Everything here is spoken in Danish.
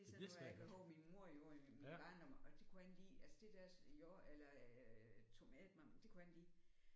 Det er sådan noget jeg kan huske min mor gjorde i min min barndom og det kunne jeg ikke lide altså det der jord eller øh tomat det kunne jeg ikke lide